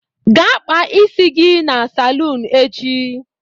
Gaa kpaa isi gị na saloon echi.